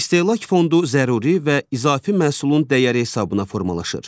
İstehlak fondu zəruri və izafi məhsulun dəyəri hesabına formalaşır.